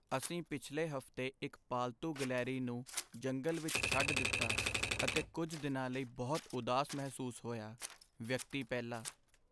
ਅਸੀਂ ਪਿਛਲੇ ਹਫ਼ਤੇ ਇੱਕ ਪਾਲਤੂ ਗਿਲਹਰੀ ਨੂੰ ਜੰਗਲ ਵਿੱਚ ਛੱਡ ਦਿੱਤਾ ਅਤੇ ਕੁੱਝ ਦਿਨਾਂ ਲਈ ਬਹੁਤ ਉਦਾਸ ਮਹਿਸੂਸ ਹੋਇਆ ਵਿਅਕਤੀ ਪਹਿਲਾ